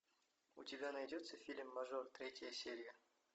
у тебя найдется фильм мажор третья серия